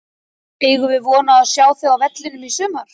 Eigum við von á að sjá þig á vellinum í sumar?